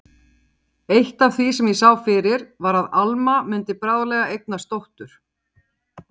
Eitt af því sem ég sá fyrir var að Alma mundi bráðlega eignast dóttur.